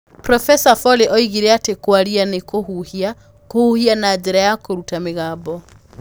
Profesa Foley oigire atĩ 'kũaria, nĩ kũhuhia,' 'kũhuhia na njĩra ya kũruta mĩgambo.'